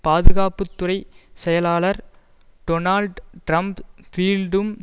பாதுகாப்பு துறை செயலாளர் டொனால்ட் ட்ரம்ஸ் பீல்டும்